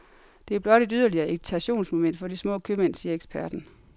Det er blot et yderligere irritationsmoment for de små købmænd, siger eksperten.